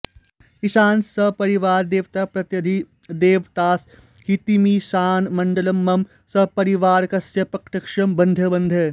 ईशान सपरिवार देवताप्रत्यधिदेवतासहितमीशानमण्डलं मम सपरिवारकस्य प्रत्यक्षं बन्धय बन्धय